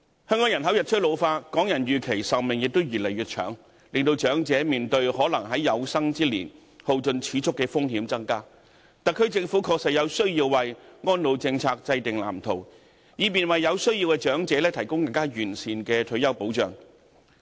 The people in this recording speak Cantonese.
香港人口日趨老化，港人預期壽命亦越來越長，令長者面對可能在有生之年耗盡儲蓄的風險增加，特區政府確實有需要制訂安老政策藍圖，以便為有需要的長者提供更完善的退休保障。